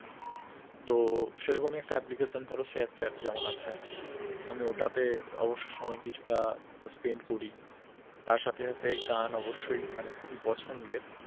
তো সে রকমই একটা application ধরো শেয়ার চ্যাট যেমন আছে আমি ওটাতে অবশ্য সময় কিছুটা spend করি তার সাথে সাথে গান অবশ্যই মানে খুবই পছন্দের